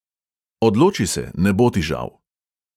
Odloči se, ne bo ti žal.